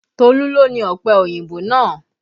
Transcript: Tolu ló ni ọpẹ òyìnbó náà